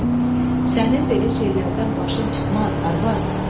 Sənin belə şeylərdən başın çıxmaz, arvad!